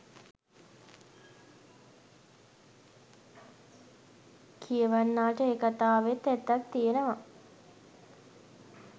කියවන්නාට ඒ කතාවෙත් ඇත්තක් තියෙනවා